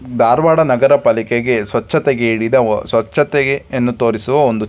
ಧಾರವಾಡ ನಗರ ಪಾಲಿಕೆಗೆ ಸ್ವಚ್ಛತೆಗೆ ಹೇಳಿದ ಒ ಸ್ವಚ್ಛತೆಯನ್ನು ತೋರಿಸುವ ಒಂದು --